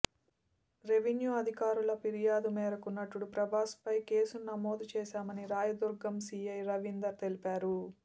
revenue అధికారుల ఫిర్యాదు మేరకు నటుడు ప్రభాస్పై కేసును నమోదు చేశామని రాయదుర్గం సిఐ రవీందర్ తెలిపారు